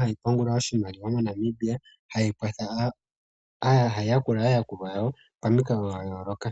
hayi pungula oshimaliwa moNamibia hayi kwatha, hayi yakula aayakulwa yawo pamikalo dha yoloka.